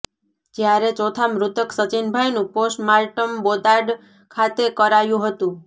જ્યારે ચોથા મૃતક સચીનભાઈનું પોસ્ટમાર્ટમ બોટાદ ખાતે કરાયું હતું